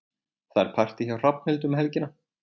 Það er partí hjá Hrafnhildi um helgina.